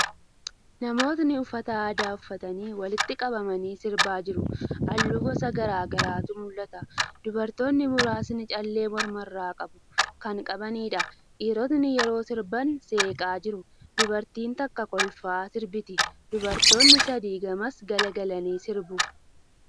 Namootni uffata aadaa uffatanii, walitti qabamanii sirbaa jiru. Haalluu gosa garagaraatu mul'ata. Dubartootni muraasni callee morma irraa kan qabaniidha. Dhiirotni yeroo sirban seeqaa jiru. Dubartiin takka kolfaa sirbiti. Dubartootni sadi gamas garagalanii sirbu.